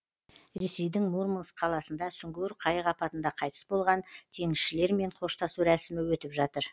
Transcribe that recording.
ресейдің мурманск қаласында сүңгуір қайық апатында қайтыс болған теңізшілермен қоштасу рәсімі өтіп жатыр